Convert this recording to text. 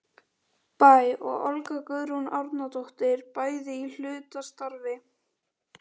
Bæ og Olga Guðrún Árnadóttir, bæði í hlutastarfi.